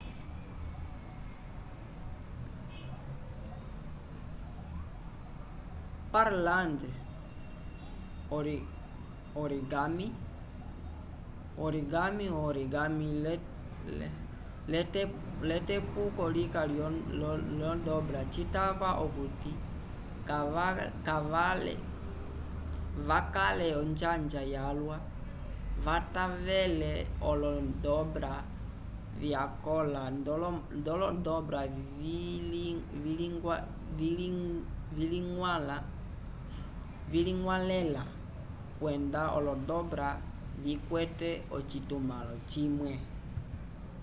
pureland origami o-origami l'etepuko lika lyo-dobra citava okuti vakale onjanja yalwa kavatavele olo-dobra vyakõla nd'olodobra viliñgwalẽla kwenda olo-dobra vikwete ocitumãlo cimwe